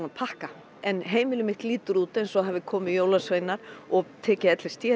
að pakka en heimilið mitt lítur út eins og það hafi komið jólasveinar og tekið l s d